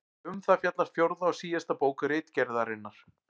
Um það fjallar fjórða og síðasta bók Ritgerðarinnar.